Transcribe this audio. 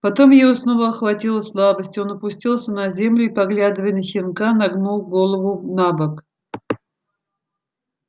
потом его снова охватила слабость он опустился на землю и поглядывая на щенка нагнул голову набок